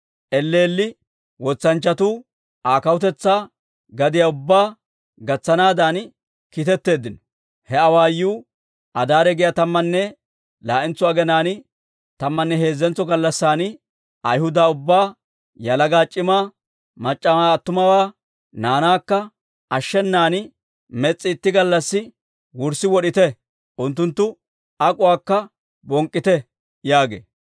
elleelli wotsanchchatuu Aa kawutetsaa gadiyaa ubbaa gatsanaadan kiitetteeddino. He awaayuu, «Adaare giyaa tammanne laa'entso aginaan tammanne heezzentso gallassan, Ayhuda ubbaa, yalaga, c'imaa, mac'c'awaa, attumawaa, naanaakka ashshenan mes's'i itti gallassi wurssi wod'ite; unttunttu ak'uwaakka bonk'k'ite» yaagee.